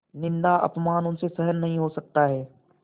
निन्दाअपमान उनसे सहन नहीं हो सकता है